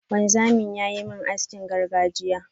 wanzamin yayi min haskin gargajiya.